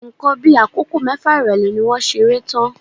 Nǹkan bí akoko mẹfa irọlẹ ni wọ́n ṣeré tán.